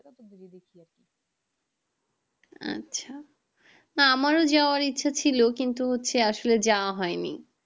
আচ্ছা না আমরাও যাওয়ার ইচ্ছা ছিল কিন্তু হচ্ছে আসলে যায় হয় নি